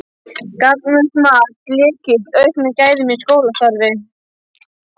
Gagnvirkt mat: Lykill að auknum gæðum í skólastarfi?